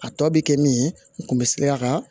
A tɔ bɛ kɛ min ye n kun bɛ siran a ka